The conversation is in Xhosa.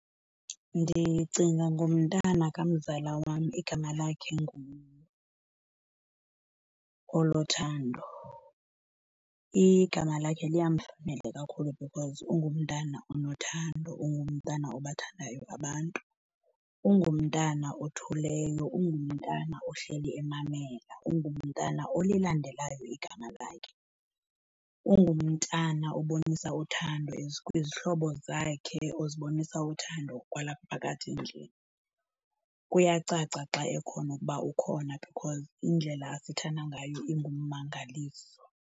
Ndicinga ngomntana kamzala wam, igama lakhe nguOlothando. Igama lakhe liyamfanela kakhulu because ungumntana onothando, ungumntana obathandayo abantu. Ungumntana othuleyo, ungumntana ohleli emamela, ungumntana olilandelayo igama lakhe. Ungumntana obonisa uthando kwizihlobo zakhe, uzibonisa uthando kwalapha phakathi endlini. Kuyacaca xa ekhona ukuba ukhona because indlela asithanda ngayo ingumangaliso.